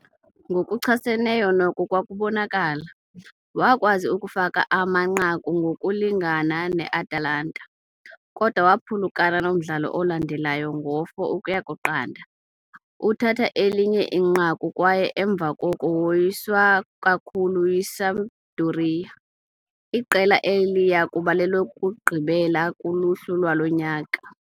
Ngokuchaseneyo noko kwakubonakala, wakwazi ukufaka amanqaku ngokulingana ne-Atalanta, kodwa waphulukana nomdlalo olandelayo ngo-4 ukuya ku-0. Uthatha elinye inqaku kwaye emva koko woyiswa kakhulu yiSampdoria, iqela eliya kuba lilokugqibela kuluhlu lwalo nyaka.